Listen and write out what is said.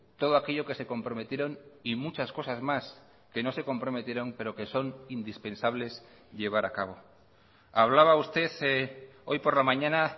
todo aquello que se comprometieron y muchas cosas más que no se comprometieron pero que son indispensables llevar a cabo hablaba usted hoy por la mañana